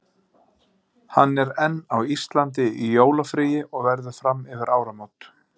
Hann er enn á Íslandi í jólafríi og verður fram yfir áramót.